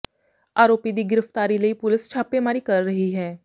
ਆਰੋਪੀ ਦੀ ਗਿ੍ਰਫ਼ਤਾਰੀ ਲਈ ਪੁਲਸ ਛਾਪੇਮਾਰੀ ਕਰ ਰਹੀ ਹੈ